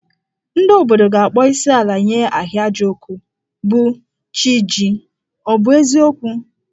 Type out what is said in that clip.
Ndị obodo ga-akpọ isiala nye Ahịajọkụ, bụ́ chi jì, ọ bụ eziokwu?